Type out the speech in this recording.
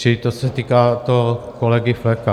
Čili to se týká kolegy Fleka.